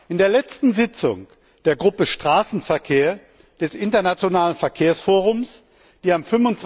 In der letzten Sitzung der Gruppe Straßenverkehr des internationalen Verkehrsforums, die am